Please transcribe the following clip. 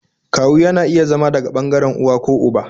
Kawu yana iya zama daga ɓangaren uwa ko uba